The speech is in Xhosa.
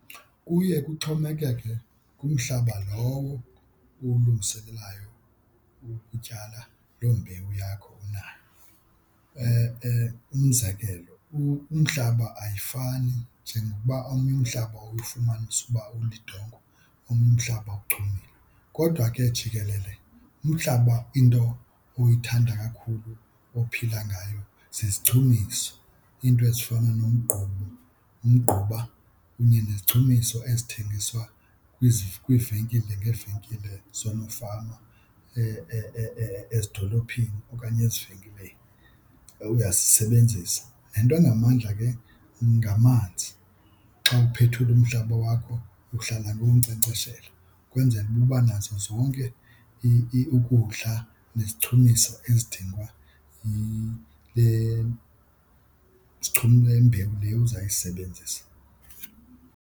Kuye kuxhomekeke kumhlaba lowo uwulungiselelayo ukutyala loo mbewu yakho unayo. Umzekelo umhlaba ayifani njengokuba omnye umhlaba ufumanise uba ulidongwe, omnye umhlaba ochumileyo. Kodwa ke jikelele umhlaba into oyithanda kakhulu ophila ngayo sisichumiso, iinto ezifana nomgquba, umgquba, kunye nezichumiso ezithengiswa kwiivenkile ngeevenkile zoonofama ezidolophini okanye ezivenkile uyazisebenzisa. Nento ingamandla ke ngamanzi. Xa uphethula umhlaba wakho uhlala uwunkcenkceshela ukwenzela uba uba nazo zonke ukudla nezichumiso ezidingwa yile yimbewu le uzawuyisebenzisa.